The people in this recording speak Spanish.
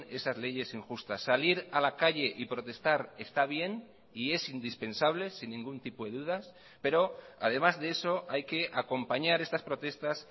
esas leyes injustas salir a la calle y protestar está bien y es indispensable sin ningún tipo de dudas pero además de eso hay que acompañar estas protestas